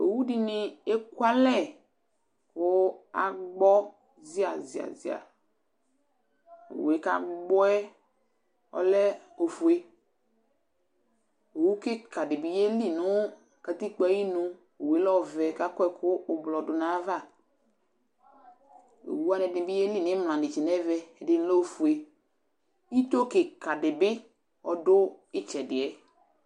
owu di ni eku alɛ ko agbɔ zia zia zia owue ko agbɔɛ ɔlɛ ofue owu keka di bi ye li no katikpoe ayinu owue lɛ ɔvɛ ko akɔ ɛko ublɔ do no ava owu wani ɛdi bi ye li no imla netse no ɛvɛ ɛdi lɛ ofue ito keka di bi do itsɛdi